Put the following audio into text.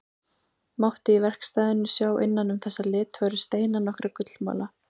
Mátti í verkstæðinu sjá innan um þessa litfögru steina nokkra gullmola.